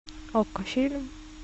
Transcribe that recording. окко фильм